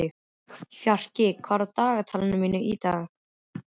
Fjarki, hvað er í dagatalinu mínu í dag?